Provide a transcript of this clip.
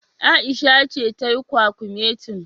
Aisha ce tayi kwakumetin.